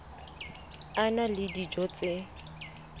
a na le dijo tse